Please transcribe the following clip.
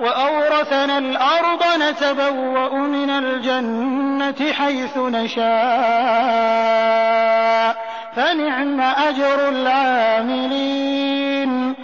وَأَوْرَثَنَا الْأَرْضَ نَتَبَوَّأُ مِنَ الْجَنَّةِ حَيْثُ نَشَاءُ ۖ فَنِعْمَ أَجْرُ الْعَامِلِينَ